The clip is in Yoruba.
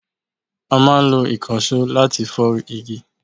A máa ń ìkànsó láti fọ́ igi